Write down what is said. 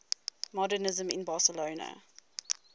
modernisme in barcelona